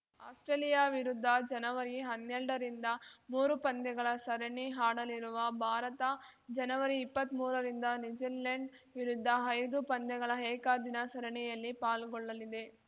Australia ವಿರುದ್ಧ ಜನವರಿಹನ್ನೆಲ್ಡರಿಂದ ಮೂರು ಪಂದ್ಯಗಳ ಸರಣಿ ಆಡಲಿರುವ ಭಾರತ ಜನವರಿಇಪ್ಪತ್ಮೂರರಿಂದ ನ್ಯೂಜಿಲೆಂಡ್‌ ವಿರುದ್ಧ ಐದು ಪಂದ್ಯಗಳ ಏಕದಿನ ಸರಣಿಯಲ್ಲಿ ಪಾಲ್ಗೊಳ್ಳಲಿದೆ